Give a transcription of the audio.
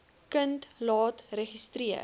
kind laat registreer